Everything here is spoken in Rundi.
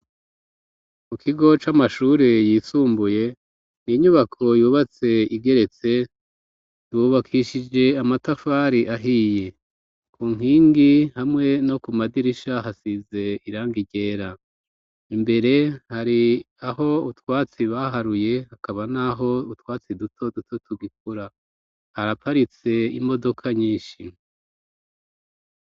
Mu kigo c'amashure yisumbuye inyubako yubatse igeretse dubakishije amatafari ahiye ku nkingi hamwe no ku madirisha hasize iranga ryera imbere hari aho utwatsi baharuye hakaba, naho utwatsia dutoduto tugikura haraparitse imodoka nyinshi.